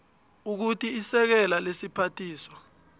ukuthi isekela lesiphathiswa